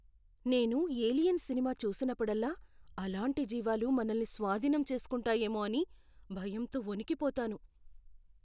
నేను "ఏలియన్" సినిమా చూసినప్పుడల్లా అలాంటి జీవాలు మనల్నిస్వాధీనం చేసుకుంటాయేమో అని భయంతో వణికిపోతాను.